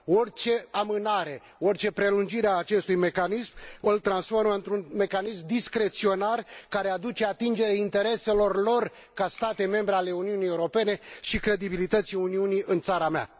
Orice amânare, orice prelungire a acestui mecanism îl transformă într un mecanism discreționar, care aduce atingere intereselor lor, ca state membre ale Uniunii Europene, și credibilității Uniunii în țara mea.